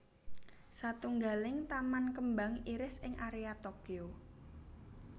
Satunggaling taman kembang iris ing area Tokyo